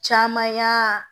Caman y'a